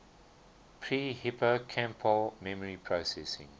pre hippocampal memory processing